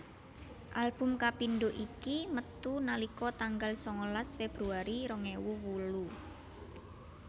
Album kapindho iki metu nalika tanggal sangalas Februari rong ewu wolu